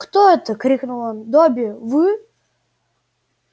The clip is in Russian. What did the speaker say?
кто это крикнул он добби вы